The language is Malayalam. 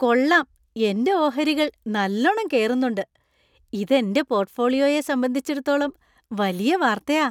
കൊള്ളാം, എന്‍റെ ഓഹരികൾ നല്ലോണം കേറുന്നുണ്ട്! ഇത് എന്‍റെ പോർട്ട്ഫോളിയോയെ സംബന്ധിച്ചിടത്തോളം വലിയ വാർത്തയാ.